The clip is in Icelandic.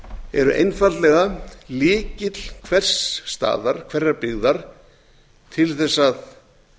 eru einfaldlega lykill hvers staðar hverrar byggðar til þess að